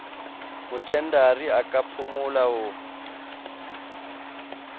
mothendari a ka phumola ho